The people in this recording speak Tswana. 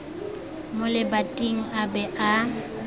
mo lebating a be a